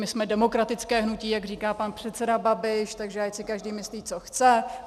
My jsme demokratické hnutí, jak říká pan předseda Babiš, takže ať si každý myslí, co chce.